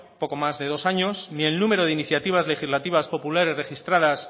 poco más de dos años ni el número de iniciativas legislativas populares registradas